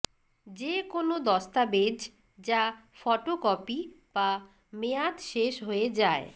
যে কোন দস্তাবেজ যা ফটোকপি বা মেয়াদ শেষ হয়ে যায়